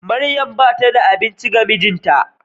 Maryam bata da aminci ga mijinta.